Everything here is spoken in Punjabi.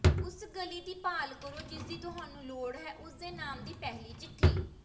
ਉਸ ਗਲੀ ਦੀ ਭਾਲ ਕਰੋ ਜਿਸਦੀ ਤੁਹਾਨੂੰ ਲੋੜ ਹੈ ਉਸ ਦੇ ਨਾਮ ਦੀ ਪਹਿਲੀ ਚਿੱਠੀ